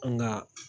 An ka